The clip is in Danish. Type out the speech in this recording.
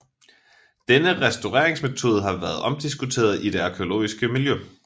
Denne restaureringsmetode har været omdiskuteret i det arkæologiske miljø